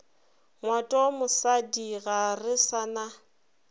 ngwatomosadi ga re sa na